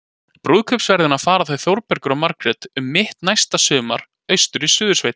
Brúðkaupsferðina fara þau Þórbergur og Margrét um mitt næsta sumar- austur í Suðursveit.